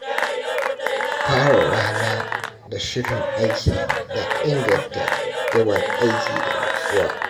Fara rana da shirin aiki na inganta yawan aiki da nutsuwa.